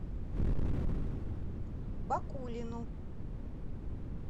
бакулину